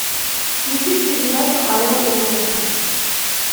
включить передачу орел и решка